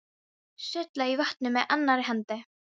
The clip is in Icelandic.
Sullaði í vatninu með annarri hendi.